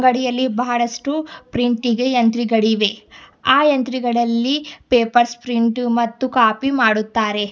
ಅಂಗಡಿಯಲ್ಲಿ ಬಹಳಷ್ಟು ಪ್ರಿಂಟಿಗೆ ಯಂತ್ರಗಳಿವೆ ಆ ಯಂತ್ರಿಗಳಲ್ಲಿ ಪೇಪರ್ ಸ್ಪ್ರಿಂಟ್ ಮತ್ತು ಕಾಪಿ ಮಾಡುತ್ತಾರೆ.